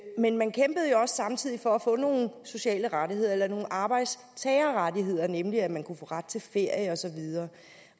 men man kæmpede også samtidig for at få nogle sociale rettigheder eller nogle arbejdstagerrettigheder nemlig at man kunne få ret til ferie og så videre